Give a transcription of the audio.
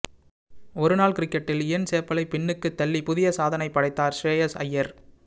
ஒருநாள் கிரிக்கெட்டில் இயன் சேப்பலை பின்னுக்குத் தள்ளி புதிய சாதனைப் படைத்தார் ஷ்ரேயாஸ் அய்யர்